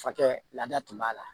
Fakɛ laada tun b'a la